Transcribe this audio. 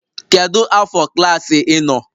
Kedu afọ klaasị ị nọ?